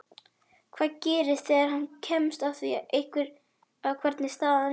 Hvað gerist þegar hann kemst að því hvernig staðan er?